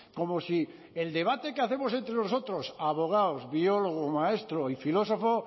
como si el debate que hacemos entre nosotros abogados biólogos maestro y filósofo